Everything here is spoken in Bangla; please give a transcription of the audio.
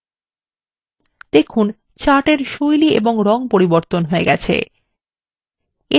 দেখুন chart এর style এবং রং পরিবর্তন হয়ে গেছে